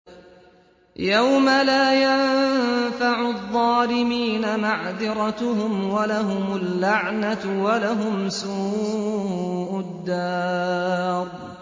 يَوْمَ لَا يَنفَعُ الظَّالِمِينَ مَعْذِرَتُهُمْ ۖ وَلَهُمُ اللَّعْنَةُ وَلَهُمْ سُوءُ الدَّارِ